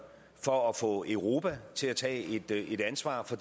for at få europa til at tage et ansvar for